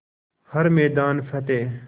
हर मैदान फ़तेह